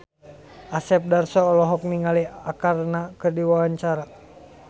Asep Darso olohok ningali Arkarna keur diwawancara